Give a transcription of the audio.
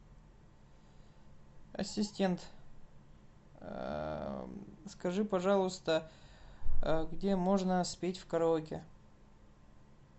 ассистент скажи пожалуйста где можно спеть в караоке